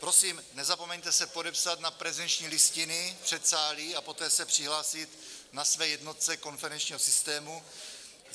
Prosím, nezapomeňte se podepsat na prezenční listiny v předsálí a poté se přihlásit na své jednotce konferenčního systému.